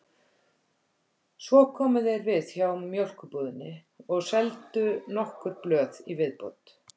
Svo komu þeir við hjá mjólkurbúðinni og seldu nokkur blöð í viðbót.